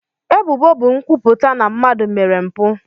Ebubo bụ nkwupụta na mmadụ mere mpụ.